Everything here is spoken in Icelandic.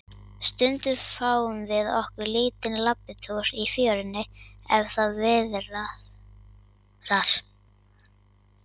Stundum fáum við okkur lítinn labbitúr í fjörunni, ef það viðrar.